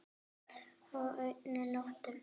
Á einni nóttu!